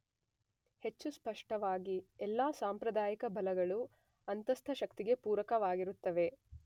ಹೆಚ್ಚು ಸ್ಪಷ್ಟವಾಗಿ ಎಲ್ಲಾ ಸಾಂಪ್ರದಾಯಿಕ ಬಲಗಳೂ ಅಂತಸ್ಥ ಶಕ್ತಿಗೆ ಪೂರಕವಾಗಿರುತ್ತವೆ.